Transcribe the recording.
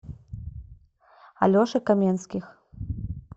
алеши каменских